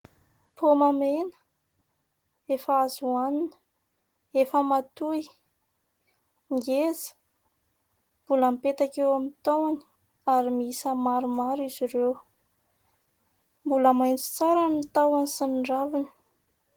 Paoma mena ; efa azo hohanina ; efa matoy ; ngeza mbola mipetaka eo amin'ny tahony ary miisa maromaro izy ireo. Mbola maitso tsara ny tahony sy ny raviny.